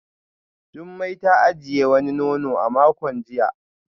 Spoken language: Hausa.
Jumai ta ajiye wani nono a makon jiya